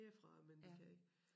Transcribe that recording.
Herfra men de kan ikke